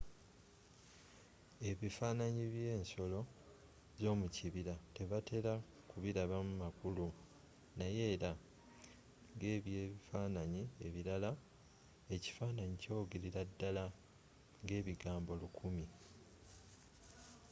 ebifaananyi byensolo zomukibira tebatera bilabamu makulu naye era ngebyebifaananyi ebirala ekifaananyi kyogerera ddala ngebigambo lukumi